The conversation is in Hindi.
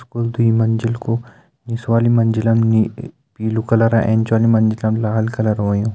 स्कुल दुई मंजिल कू निस वाली मंजिल मा पीलू कलर ऐंच वाली मंजिल मा लाल कलर होयूं।